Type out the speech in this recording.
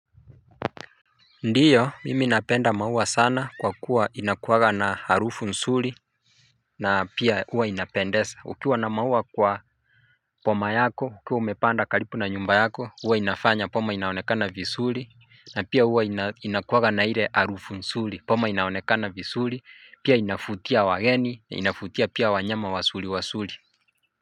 Ndio, mimi napenda maua sana kwa kuwa inakuwanga na harufu nzuri na pia huwa inapendeza. Ukiwa na maua kwa boma yako, ukiwa umepanda karibu na nyumba yako, huwa inafanya boma inaonekana vizuri na pia huwa inakuwanga na ile harufu nzuri, boma inaonekana vizuri, pia inavutia wageni, inavutia pia wanyama wazuri wazuri.